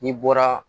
N'i bɔra